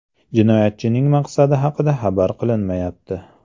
Jinoyatchining maqsadi haqida xabar qilinmayapti.